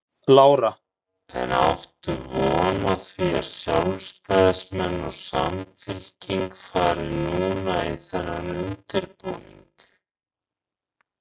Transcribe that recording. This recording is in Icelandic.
Lára: En áttu von á því að sjálfstæðismenn og Samfylking fari núna í þennan undirbúning?